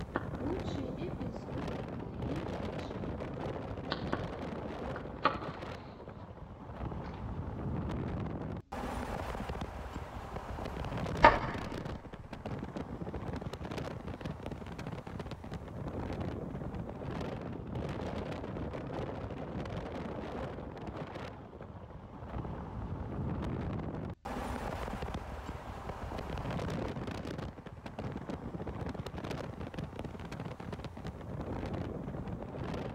лучший эпизод кайли дженнер